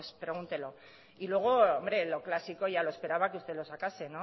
pues pregúntelo y luego lo clásico ya lo esperaba que lo sacase